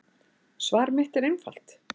Svar mitt er einfalt